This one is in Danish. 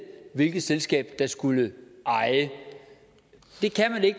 hvilket selskab der skulle eje det